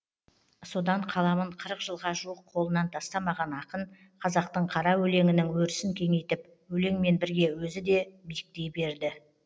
содан қаламын қырық жылға жуық қолынан тастамаған ақын қазақтың қара өлеңінің өрісін кеңейтіп өлеңмен бірге өзі де биіктей берді